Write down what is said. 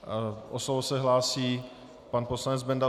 O slovo se hlásí pan poslanec Benda.